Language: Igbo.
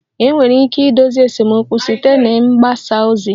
Enwere ike idozi esemokwu site na mgbasa ozi